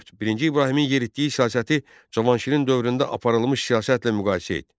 Dörd: birinci İbrahimin yeritdiyi siyasəti Cavanşirin dövründə aparılmış siyasətlə müqayisə et.